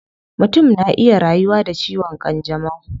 Mutum na iya rayuwa da ciwon kanjamau